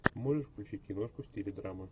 можешь включить киношку в стиле драма